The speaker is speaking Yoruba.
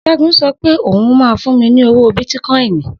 Segun sọ wípé ó hun ma fún mi ní owó bìtìcoin